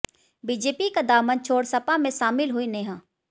BJP का दामन छोड़ सपा में शामिल हुईं नेहा